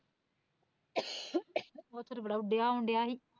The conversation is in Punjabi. ਓਥੇ ਤਾਂ ਬੜਾ ਉੱਡਿਆ ਉਣ ਡਿਆ ਸੀ